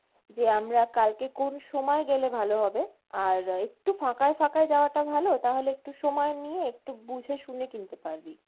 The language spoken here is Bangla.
যে আমরা কালকে কোন সময়ে গেলে ভালো হবে আর একটু ফাঁকায় ফাঁকায় যাওয়াটা ভালো তাহলে একটু সময় নিয়ে একটু বুঝে শুনে কিনতে পারবি।